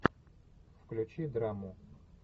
включи драму